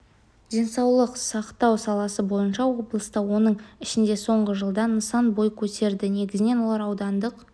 денсаулық сақтау саласы бойынша облыста оның ішінде соңғы жылда нысан бой көтерді негізінен олар аудандық